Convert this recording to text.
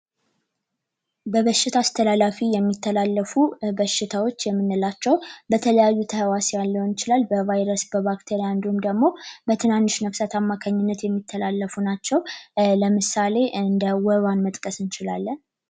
በበሽታ አስተላላፊ የሚተላለፉ በሽታዎች የምንላቸው በተለያዩ እንችላለን በቫይረስ በባክቴሪም ደግሞ በንክኪ አማካኝነት የሚተላለፉ ናቸው ለምሳሌ እንደ ወባን መጥቀስ እንችላለን።